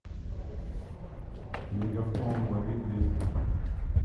мегафон лови двести